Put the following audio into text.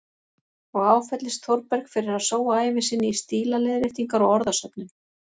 Og áfellist Þórberg fyrir að sóa ævi sinni í stílaleiðréttingar og orðasöfnun.